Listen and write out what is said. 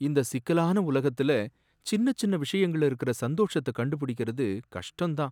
இந்த சிக்கலான உலகத்துல சின்ன சின்ன விஷயங்கள்ல இருக்கற சந்தோஷத்த கண்டுபிடிக்கிறது கஷ்டம்தான்.